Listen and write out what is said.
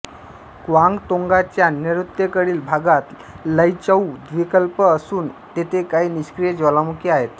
क्वांगतोंगाच्या नैऋत्येकडील भागात लैचौ द्वीपकल्प असून तेथे काही निष्क्रिय ज्वालामुखी आहेत